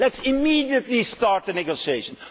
Let us immediately start the negotiations.